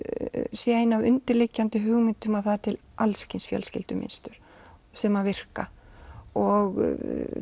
sé ein af undirliggjandi hugmyndum að það er til alls kyns fjölskyldumynstur sem virka og